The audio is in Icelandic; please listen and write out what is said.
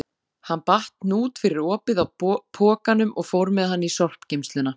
Hann batt hnút fyrir opið á pokanum og fór með hann í sorpgeymsluna.